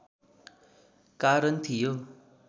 कारण थियो